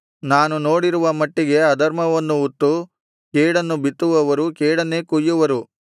ನಾನು ನೋಡಿರುವ ಮಟ್ಟಿಗೆ ಅಧರ್ಮವನ್ನು ಉತ್ತು ಕೇಡನ್ನು ಬಿತ್ತುವವರು ಕೇಡನ್ನೇ ಕೊಯ್ಯುವರು